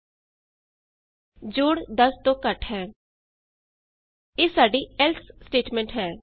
sum is less than 10 ਇਹ ਸਾਡੀ else statement ਹੈ